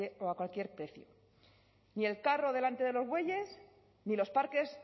o a cualquier precio ni el carro delante de los bueyes ni los parques